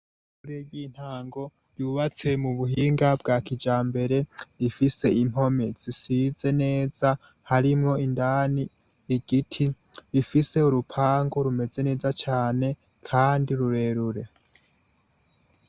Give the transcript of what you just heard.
ishure y'intango ryubatse mu buhinga bwa kijambere rifise impome zisize neza harimo indani igiti, rifise urupango rumeze neza cane kandi rurerure.